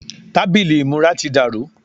Tábìlì ìmúra ti dàrú.